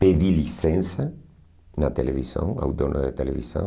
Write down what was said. Pedi licença na televisão, ao dono da televisão.